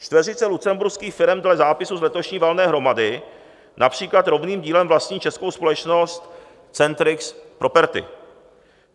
Čtveřice lucemburských firem dle zápisu z letošní valné hromady například rovným dílem vlastní českou společnost Centrix Property.